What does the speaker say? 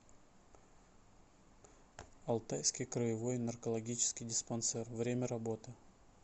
алтайский краевой наркологический диспансер время работы